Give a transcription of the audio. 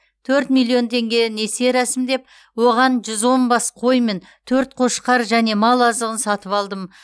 төрт миллион теңге несие рәсімдеп оған жүз он бас қой мен төрт қошқар және мал азығын сатып алдым